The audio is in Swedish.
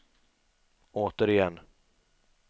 återigen